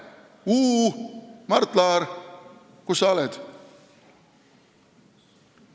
Uu, Mart Laar, kus sa oled?